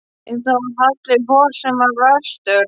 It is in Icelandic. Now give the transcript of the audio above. En það var Halli hor sem var verstur.